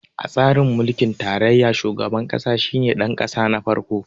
A tsarin mulkin tarayya, shugaban ƙasa shi ne ɗanƙasa na farko.